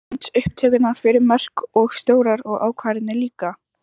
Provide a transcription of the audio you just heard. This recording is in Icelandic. Myndbandsupptökur fyrir mörk og stórar ákvarðanir líka?